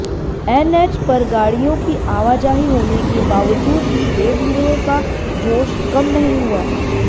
NH पर गाडि़यों की आवाजाही होने के बावजूद भी देवलुओं का जोश कम नहीं हुआ